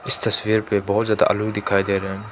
इस तस्वीर पे बहोत ज्यादा आलू दिखाई दे रहे--